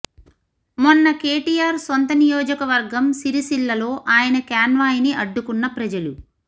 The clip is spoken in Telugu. మొన్న కేటీఆర్ సొంత నియోజకవర్గం సిరిసిల్ల లో ఆయన కాన్వాయ్ ని అడ్డుకున్న ప్రజలు